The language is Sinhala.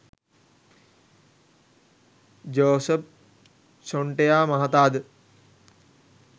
ජෝෂප් ෂොන්ටෙයා මහතාද